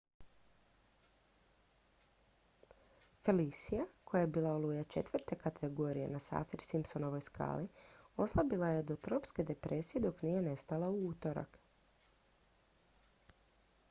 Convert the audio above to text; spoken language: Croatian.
felicia koja je bila oluja 4. kategorije na saffir-simpsonovoj skali oslabila je do tropske depresije dok nije nestala u utorak